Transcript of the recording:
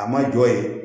A ma jɔ ye